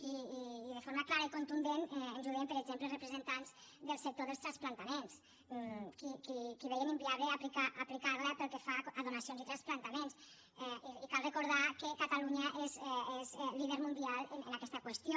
i de forma clara i contundent ens ho deien per exemple els representants del sector dels trasplantaments que veien inviable aplicar la pel que fa a donacions i trasplantaments i cal recordar que catalunya és líder mundial en aquesta qüestió